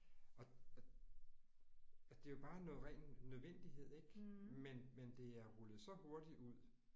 Og og og det er jo bare noget ren nødvendighed ik. Men men det er rullet så hurtigt ud